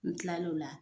N kila lo la